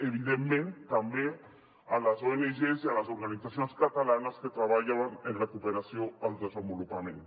evidentment també a les ongs i a les organitzacions catalanes que treballen en la cooperació al desenvolupament